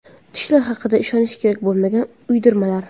Tishlar haqida ishonish kerak bo‘lmagan uydirmalar.